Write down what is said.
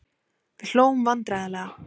Við hlógum vandræðalega.